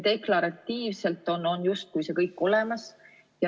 Deklaratiivselt on justkui see kõik olemas.